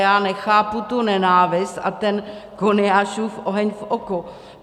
Já nechápu tu nenávist a ten Koniášův oheň v oku.